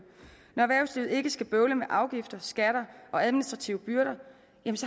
når erhvervslivet ikke skal bøvle med afgifter skatter eller administrative byrder